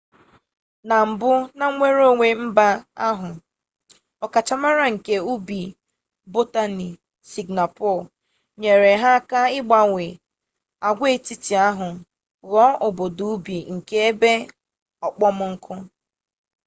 na mbụ na nnwereonwe mba ahụ ọkachamara nke ubi botaniik sịngapọọ nyere ha aka ịgbanwe agwaetiti ahụ ghụọ obodo ubi nke ebe okpomọkụ